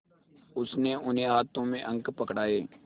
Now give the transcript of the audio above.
उसने उन्हें हाथों में अंक पकड़ाए